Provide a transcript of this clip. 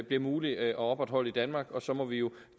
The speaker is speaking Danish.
bliver mulig at opretholde i danmark og så må vi jo